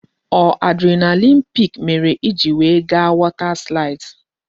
Ọ adrenaline peak mere I ji we ga water slides?